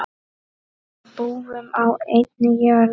Við búum á einni jörð.